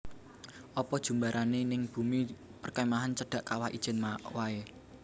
Opo jumbarane ning bumi perkemahan cedhak Kawah Ijen wae